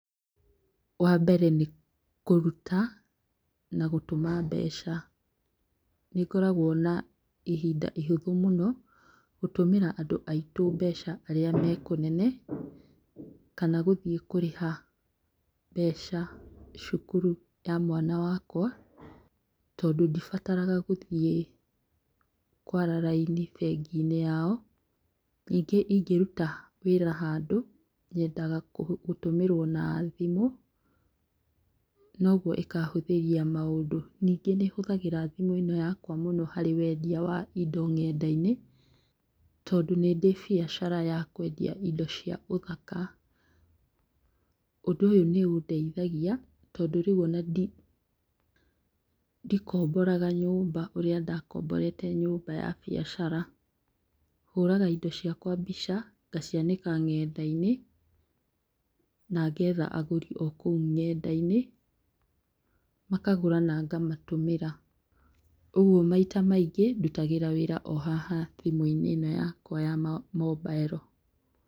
Wambere nĩ kũruta na gũtũma mbeca. Nĩngoragwo na ihinda ihũthũ mũno gũtũmĩra andũ aitũ mbeca arĩa me kũnene kana gũthiĩ kũrĩha mbeca cukuru ya mwana wakwa tondũ ndĩbataraga gũthiĩ kwara raini bengi-inĩ yao. Ningĩ ingĩruta wĩra handũ nyendaga gũtũmĩrwo na thimũ noguo ĩkahũthĩria maũndũ. Ningĩ nĩhũthagĩra thimũ ĩno yakwa mũno harĩ wendia wa indo ng'enda-inĩ tondũ nĩndĩ biacara ya kwendia indo cia ũthaka. Ũndũ ũyũ nĩũndeigathia tondũ ona rĩu ndikomboraga nyũmba ũrĩa ndakomborete nyũmba ya biacara, hũraga indo ciakwa mbica ngacianĩka ng'enda-inĩ na ngetha agũri o kũu ng'enda-inĩ makagũra na ngamatũmĩra. Ũguo maita maingĩ ndutagĩra wĩra o haha thimũ-inĩ ĩno yakwa ya mombaero.